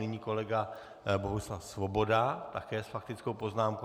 Nyní kolega Bohuslav Svoboda také s faktickou poznámkou.